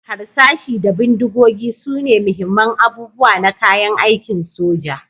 Harsashi da bindigogi sune muhimman abubuwa na kayan aikin soja,